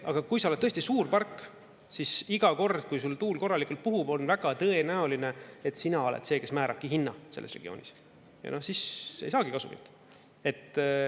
Aga kui sa oled tõesti suur park, siis iga kord, kui sul tuul korralikult puhub, on väga tõenäoline, et sina oled see, kes määrabki hinna selles regioonis, ja siis ei saagi kasumit.